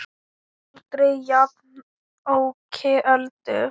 Aldrei jafnoki Öldu.